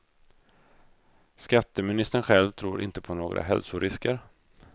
Skatteministern själv tror inte på några hälsorisker.